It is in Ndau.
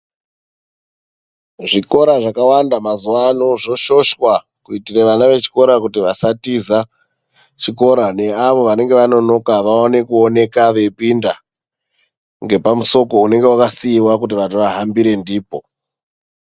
Zvikora zvakawanda mazuvano zvoshoshwa kuitire vana vechikora kuti vasatiza chikora. Neavo vanenge vanonoka vawane kuoneka veipinda ngepamusoko unenge wakasiiwa kuti vantu vahambire ndipo.